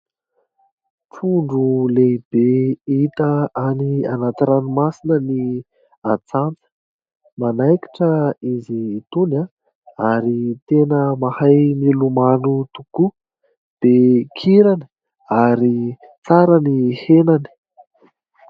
Trondro lehibe hita any anaty ranomasina ny atsantsa. Manaikitra izy itony ary tena mahay milomano tokoa dia kirany ary tsara ny henany.